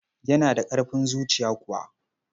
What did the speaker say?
Yana da ƙarfin zuciya kuwa?